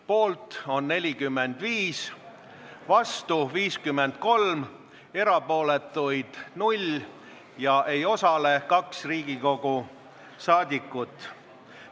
Poolt on 45, vastu 53, erapooletuid 0 ja ei hääletanud 2 Riigikogu saadikut.